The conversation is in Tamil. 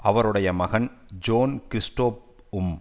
அவருடைய மகன் ஜோன் கிரிஸ்டோப் உம்